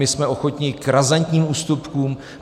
My jsme ochotni k razantním ústupkům.